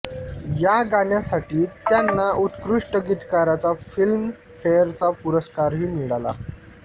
या गाण्यासाठी त्यांना उत्कृष्ठ गीतकाराचा फिल्म फेअर चा पुरस्कार ही मिळाला